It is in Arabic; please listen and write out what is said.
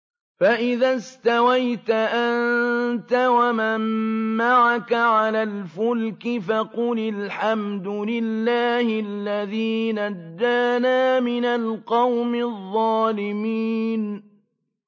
فَإِذَا اسْتَوَيْتَ أَنتَ وَمَن مَّعَكَ عَلَى الْفُلْكِ فَقُلِ الْحَمْدُ لِلَّهِ الَّذِي نَجَّانَا مِنَ الْقَوْمِ الظَّالِمِينَ